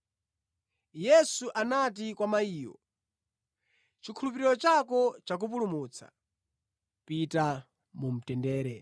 Yesu anati kwa mayiyo, “Chikhulupiriro chako chakupulumutsa. Pita mu mtendere.”